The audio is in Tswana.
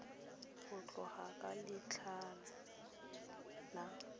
go tloga ka letlha la